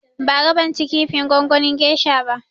Bara ban ci kifin gongonin gesha ba